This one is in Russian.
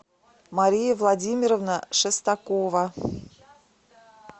мария владимировна шестакова